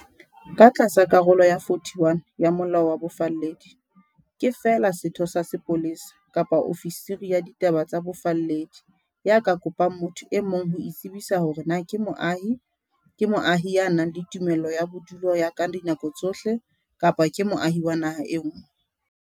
Ka tlasa Karolo ya 41 ya Molao wa Bofalledi, ke feela setho sa sepolesa kapa ofisiri ya ditaba tsa bofalledi ya ka kopang motho e mong ho itsebisa hore na ke moahi, ke moahi ya nang le tumello ya bodudi ya ka dinako tsohle, kapa ke moahi wa naha e nngwe.